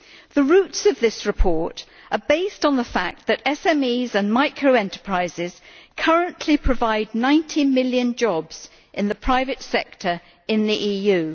The roots of this report are based on the fact that SMEs and micro enterprises currently provide 90 million jobs in the private sector in the EU.